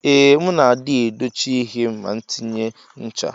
Ee mu na adi edochi ihe m na atinye ncha.